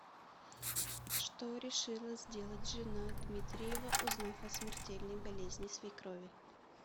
что решила сделать жена дмитриева узнав о смертельной болезни свекрови